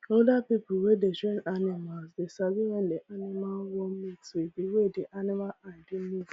older people wey dey train animals dey sabi when animal wan mate wig di wey di animal eye dey move